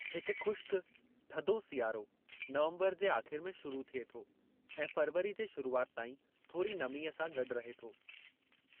हिकु ख़ुश्क, थधो सियारो नवम्बरु जे आख़िर में शुरू थिए थो ऐं फरवरी जे शुरूआति ताईं थोरी नमीअ सां गॾु रहे थो।